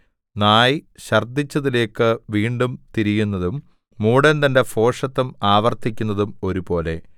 നായ് ഛർദ്ദിച്ചതിലേക്ക് വീണ്ടും തിരിയുന്നതും മൂഢൻ തന്റെ ഭോഷത്തം ആവർത്തിക്കുന്നതും ഒരുപോലെ